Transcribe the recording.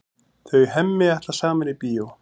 Þau Hemmi ætla saman í bíó.